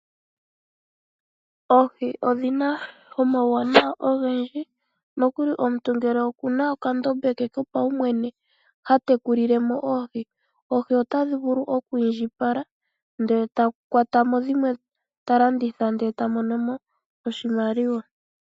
Oohi odhi na omauwanawa ogendji unene uuna omuntu ena okandombe ke kopaumwene koohi oha vulu oku iindjipala eta kwata mo dhimwe nokudhilandithapo opo a vule a mone mo oshimaliwa .